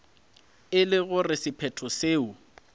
e le gore sephetho seo